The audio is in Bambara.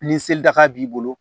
Ni seli daga b'i bolo